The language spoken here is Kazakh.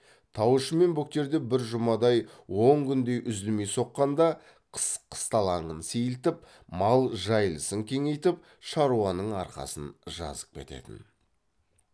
тау ішімен бөктерде бір жұмадай он күндей үзілмей соққанда қыс қысталаңын сейілтіп мал жайылысын кеңейтіп шаруаның арқасын жазып кететін